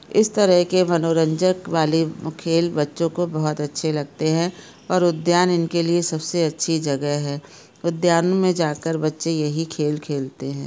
इस तरह के मनोरंजक वाले खेल बच्चों को बोहोत अच्छे लगते हैं और उद्यान इनके लिए सबसे अच्छी जगह है उद्यान में जाकर बच्चे यही खेल खेलते हैं।